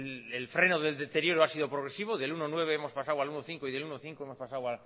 el freno del deterioro ha sido progresivo del uno coma nueve hemos pasado al uno coma cinco y del uno coma cinco hemos pasado